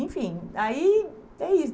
Enfim, aí é isso.